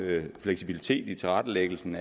fleksibilitet i tilrettelæggelsen